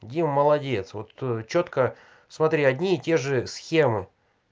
дима молодец вот ээ чётко смотри одни и те же схемы